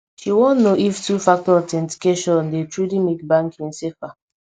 she wan know if two factor authentication dey truly make banking safer